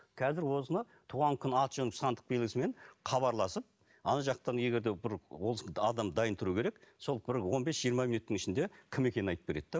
қазір осыны туған күні аты жөні сандық белгісімен хабарласып ана жақтан егер де бір ол адам дайын тұруы керек сол бір он бес жиырма минуттың ішінде кім екенін айтып береді де